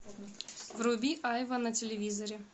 вруби айва на телевизоре